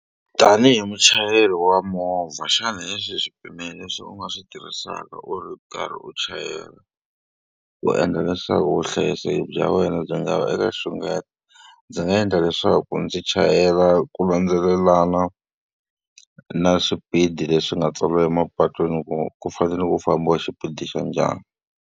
Tanihi muchayeri wa movha xana lexi swipimelo leswi u nga swi tirhisaka u ri karhi u chayela ku endla leswaku vuhlayiseki bya wena byi nga vi eka nxungeto? Ndzi nga endla leswaku ndzi chayela ku landzelelana na swipidi leswi nga tswariwa emapatwini ku ku fanele ku fambiwa xipidi xa njhani.